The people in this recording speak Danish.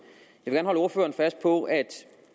jeg vil gerne holde ordføreren fast på at